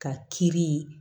Ka kiiri